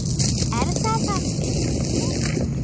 Er það sem mér sýnist?